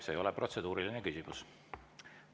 See ei ole protseduuriline küsimus.